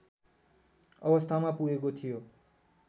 अवस्थामा पुगेको थियो